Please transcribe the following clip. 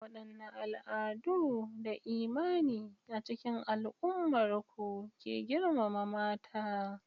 Wadanne al'adu da imani a cikin al'ummar ku ke girmama mata?